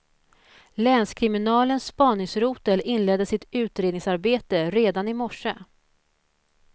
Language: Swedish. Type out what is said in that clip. Länskriminalens spaningsrotel inledde sitt utredningsarbete redan i morse.